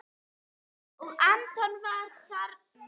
Og Anton var þarna.